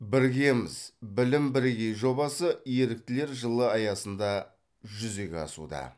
біргеміз білім бірегей жобасы еріктілер жылы аясында жүзеге асуда